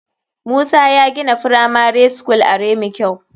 Musa ya gina firamari school are mikil.